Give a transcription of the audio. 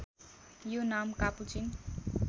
यो नाम कापुचिन